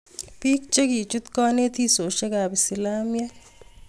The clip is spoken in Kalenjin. Piik chekichuut kanetisiosiek ap isilamiek